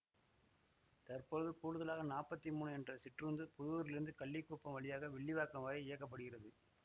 தற்பொழுது கூடுதலாக நாப்பத்தி மூனு என்ற சிற்றுந்து புதூரிலிருந்து கள்ளிக்குப்பம் வழியாக வில்லிவாக்கம் வரை இயக்க படுகிறது